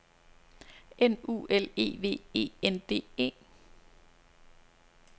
N U L E V E N D E